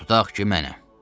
Tutaq ki, mənəm.